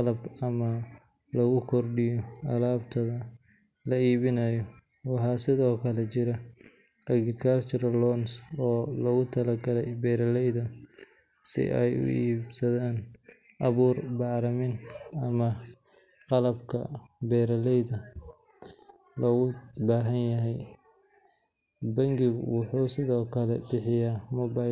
dhaqso ah, si gaar ah marka ay macaamiishu ku bixinayaan alaab ama adeeg. Tusaale ahaan, dukaamada, farmashiyeyaasha, makhaayadaha, iyo xitaa suuqyada waa weyn waxay taageeraan lacag-bixinta digital ah si loo helo.